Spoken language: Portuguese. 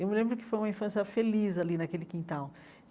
Eu me lembro que foi uma infância feliz ali naquele quintal.